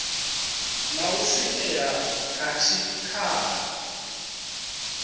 na u swikela kha tshikhala